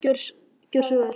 Gjörðu svo vel.